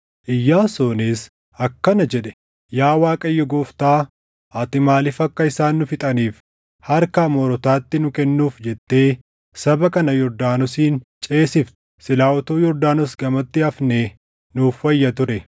Iyyaasuunis akkana jedhe; “Yaa Waaqayyo Gooftaa, ati maaliif akka isaan nu fixaniif harka Amoorotaatti nu kennuuf jettee saba kana Yordaanosiin ceesifte? Silaa utuu Yordaanos gamatti hafnee nuuf wayya ture!